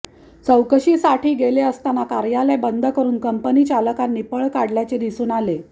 चौकशीसाठी गेले असताना कार्यालय बंद करून कंपनीचालकांनी पळ काढल्याचे दिसून आले